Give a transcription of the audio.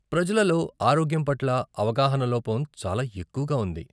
ప్రజలలో ఆరోగ్యం పట్ల అవగాహన లోపం చాలా ఎక్కువగా ఉంది.